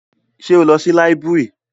Ṣé o lọ sí library?